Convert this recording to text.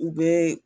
U bɛ